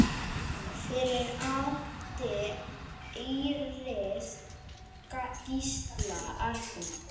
Fyrir átti Íris Gísla Arnar.